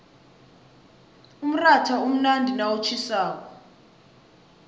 umratha umnandi nawutjhisako